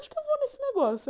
Acho que eu vou nesse negócio.